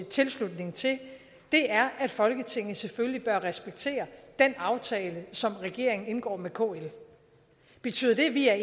tilslutning til er at folketinget selvfølgelig bør respektere den aftale som regeringen indgår med klokken betyder det at vi er